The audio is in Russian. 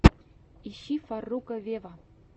ищи фарруко вево